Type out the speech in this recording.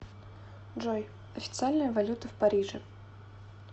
джой официальная валюта в париже